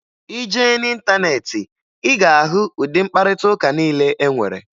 Ị jee n'ịntaneetị, ị ga-ahụ ụdị mkparịtaụka niile e nwere